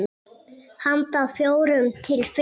Handa fjórum til fimm